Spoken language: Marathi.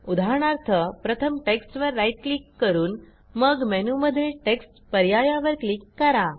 उदाहरणार्थ प्रथम टेक्स्टवर राईट क्लिक करून मग मेनूमधील टेक्स्ट पर्यायावर क्लिक करा